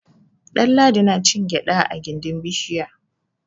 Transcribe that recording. Ɗanladi na cin gyaɗa a gindin bishiya.